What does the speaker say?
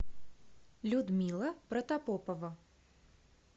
людмила протопопова